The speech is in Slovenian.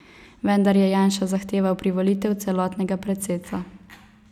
Vendar je Janša zahteval privolitev celotnega predsedstva.